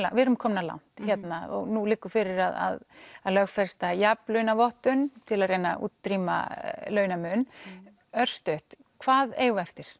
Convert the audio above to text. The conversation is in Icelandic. við erum komnar langt hérna og núna liggur fyrir að lögfesta jafnlaunavottun til að reyna að útrýma launamun örstutt hvað eigum við eftir